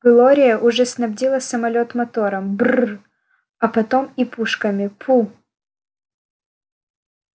глория уже снабдила самолёт мотором брр а потом и пушками пу